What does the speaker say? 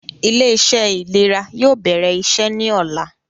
Ilé - iṣẹ́ ìlera yóò bẹ̀rẹ̀ iṣẹ́ ní ọ̀la